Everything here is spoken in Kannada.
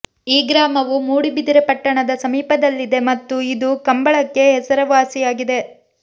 ಈ ಗ್ರಾಮವು ಮೂಡುಬಿದಿರೆ ಪಟ್ಟಣದ ಸಮೀಪದಲ್ಲಿದೆ ಮತ್ತು ಇದು ಕಂಬಳಕ್ಕೆ ಹೆಸರುವಾಸಿಯಾಗಿದೆ